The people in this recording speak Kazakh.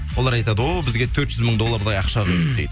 олар айтады о бізге төрт жүз мың доллардай ақша құйды дейді